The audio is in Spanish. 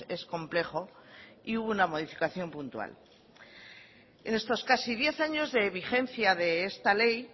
es complejo y hubo una modificación puntual en estos casi diez años de vigencia de esta ley